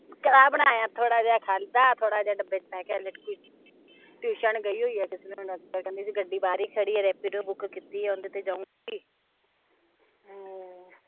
ਕੜਾਹ ਬਣਾਇਆ ਥੋੜਾ ਜਿਹਾ, ਖਾਦਾ, ਥੋੜਾ ਜਿਹਾ ਡੱਬੇ ਟਿਊਸ਼ਨ ਗਈ ਹੋਇ ਆ ਗੱਡੀ ਬਾਹਰੇ ਖੜੀ ਰੇਪੀਡੋ ਬੁਕ ਕੀਤੀ ਏ, ਉਹਦੇ ਤੇ ਜਾਊਗੀ ਹਮ